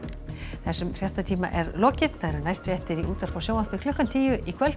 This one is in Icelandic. þessum fréttatíma er lokið næstu fréttir eru í útvarpi og sjónvarpi klukkan tíu í kvöld